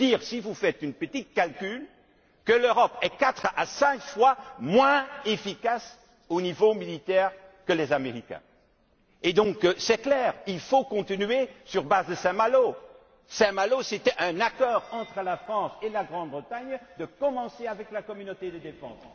Cela signifie, si vous faites un petit calcul, que l'Europe est quatre à cinq fois moins efficace au niveau militaire que les Américains. C'est donc clair, il faut continuer sur la base de Saint Malo. Saint Malo, c'était un accord entre la France et la Grande Bretagne en vue de lancer la communauté de défense.